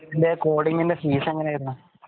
coding ന്റെ fees എങ്ങനെ ആയിരുന്നു